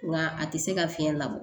Nga a tɛ se ka fiɲɛ labɔ